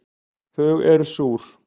Þau eru súr